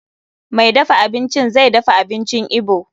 Mai dafa abincin zai dafa abincin Igbo.